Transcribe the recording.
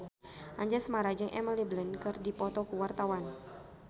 Anjasmara jeung Emily Blunt keur dipoto ku wartawan